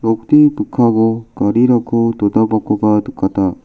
nokni mikkango garirangko donarangkoba nikata.